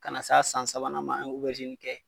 Ka na s'a san sabanan ma an ye obɛrizini kɛ